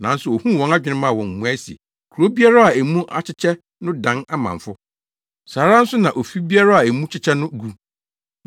Nanso ohuu wɔn adwene maa wɔn mmuae se, “Kurow biara a emu akyekyɛ no dan amamfo. Saa ara nso na ofi biara a emu kyekyɛ no gu.